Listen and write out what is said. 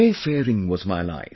Wayfaring was my life